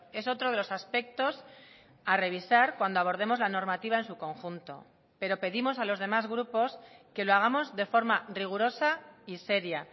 es otro de los aspectos a revisar cuando abordemos la normativa en su conjunto pero pedimos a los demás grupos que lo hagamos de forma rigurosa y seria